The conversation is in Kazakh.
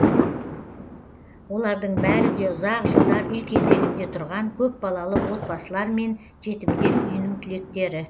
олардың бәрі де ұзақ жылдар үй кезегінде тұрған көпбалалы отбасылар мен жетімдер үйінің түлектері